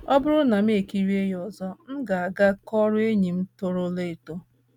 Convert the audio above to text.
Ọ bụrụ na mụ ekirie ya ọzọ, m ga - aga kọọrọ enyi m torola eto.